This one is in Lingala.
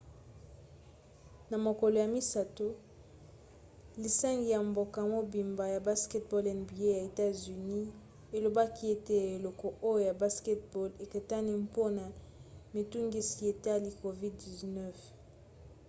na mokolo ya misato lisangani ya mboka mobimba ya basketball nba ya etats-unis elobaki ete eleko oyo ya basket-ball ekatani mpona mitungisi etali covid-19